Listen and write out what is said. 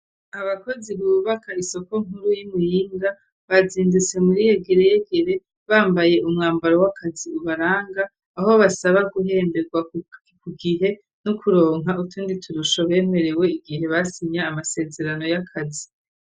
Abakozi bubaka isoko nkuru yI Muyinga bazindutse muri yegiregere bambaye umwambaro w'akazi ubaranga aho basaba guhemberwa ku gihe no kuronka utundi turusho bemerewe igihe basinya amasezerano y'akazi.